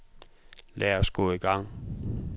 Lad os gå i gang.